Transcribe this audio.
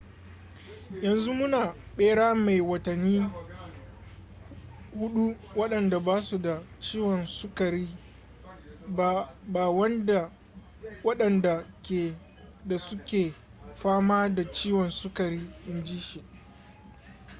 yanzu muna bera mai watanni 4 wadanda ba su da ciwon sukari ba wadanda ke da suke fama da ciwon sukari in ji shi